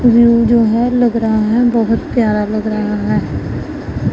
View जो है लग रहा हैं बहोत प्यारा लग रहा हैं।